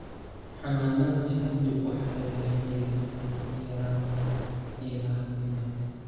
Xannaanada shinnidu waxay la xiriirtaa yaraanta ilaha biyaha.